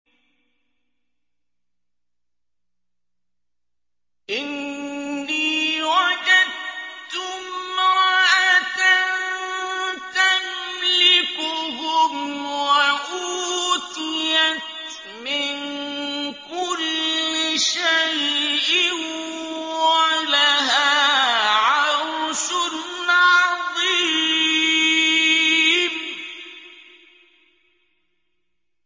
إِنِّي وَجَدتُّ امْرَأَةً تَمْلِكُهُمْ وَأُوتِيَتْ مِن كُلِّ شَيْءٍ وَلَهَا عَرْشٌ عَظِيمٌ